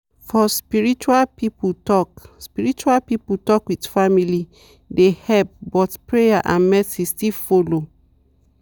for spiritual people talk spiritual people talk with family dey help but prayer and medicine still follow.